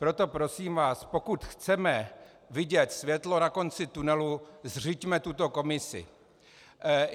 Proto prosím vás, pokud chceme vidět světlo na konci tunelu, zřiďme tuto komisi.